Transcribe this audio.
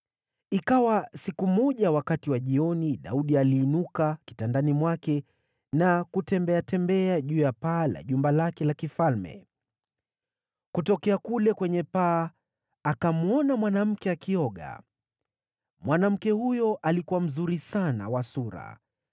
Ikawa siku moja wakati wa jioni Daudi aliinuka kitandani mwake na kutembeatembea juu ya paa la jumba lake la kifalme. Kutokea kule kwenye paa, akamwona mwanamke akioga. Mwanamke huyo alikuwa mzuri sana wa sura,